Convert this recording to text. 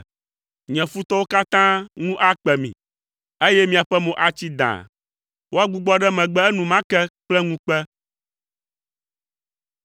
Nye futɔwo katã ŋu akpe mi, eye miaƒe mo atsi dãa; woagbugbɔ ɖe megbe enumake kple ŋukpe.